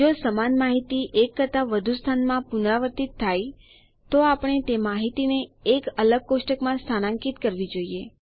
જો સમાન માહિતી એક કરતા વધુ સ્થાનમાં પુનરાવર્તિત થાય છે તો આપણે તે માહિતીને એક અલગ કોષ્ટકમાં સ્થાનાંકીત કરવી જોઈએ